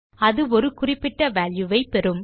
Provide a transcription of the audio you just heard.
அது ஒரு குறிப்பிட்ட வால்யூ ஐ பெறும்